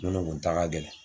Minnu kun ta ka gɛlɛn